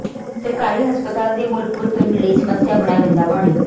ਸਰਕਾਰੀ ਹਸਪਤਾਲ ਤੇ ਮਲਕਪੁਰ ਪਿੰਡ ਲਈ ਸਮੱਸਿਆ ਬਣਿਆ ਗੰਦਾ ਪਾਣੀ